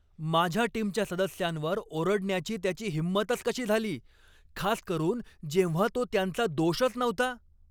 माझ्या टीमच्या सदस्यांवर ओरडण्याची त्याची हिंमतच कशी झाली, खासकरून जेव्हा तो त्यांचा दोषच नव्हता!